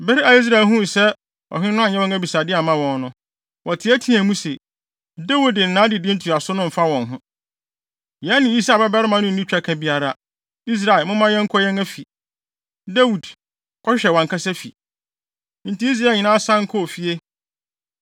Bere a Israel huu sɛ ɔhene no anyɛ wɔn abisade amma wɔn no, wɔteɛteɛɛ mu se, “Dawid ne nʼadedi ntoaso no mfa wɔn ho. Yɛne Yisai babarima no nni twaka biara. Israel, momma yɛnkɔ yɛn afi. Dawid, kɔhwehwɛ wʼankasa wo fi.” Enti Israel nyinaa san kɔɔ fie.